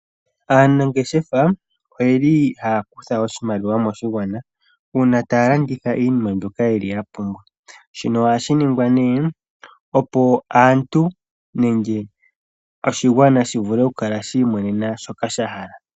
Aanangeshefa oyeli haya kutha oshimaliwa moshigwana uuna taya landitha iinima mbyoka yeli yapumbwa. Shino ohashi ningwa ne opo aantu nenge oshigwana shi vule okukala shiimonena shoka sha hala.